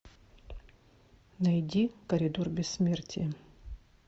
найди коридор бессмертия